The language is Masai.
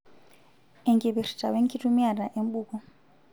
Enkipirta wenkitumiata enbuku.